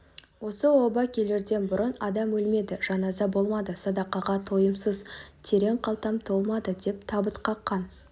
осы оба келерден бұрын адам өлмеді жаназа болмады садақаға тойымсыз терең қалтам толмады деп табыт қаққан